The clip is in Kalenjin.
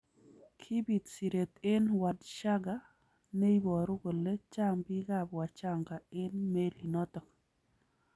Kibit siret ne Wadschagga neiboru kole chang bik ab Wachaga eng melinotok.